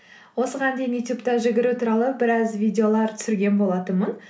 осыған дейін ютюбта жүгіру туралы біраз видеолар түсірген болатынмын